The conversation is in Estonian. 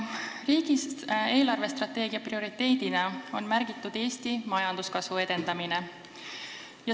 Riigi eelarvestrateegia prioriteedina on märgitud Eesti majanduskasvu edendamine.